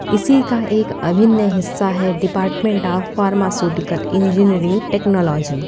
इसी का एक अभिन्न हिस्सा है department of pharmaceutical engineering technology |